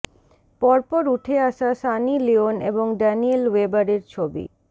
পরপর উঠে আসে সানি লিওন এবং ড্যানিয়েল ওয়েবারের ছবি